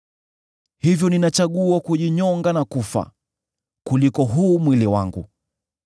hivyo ninachagua kujinyonga na kufa, kuliko huu mwili wangu.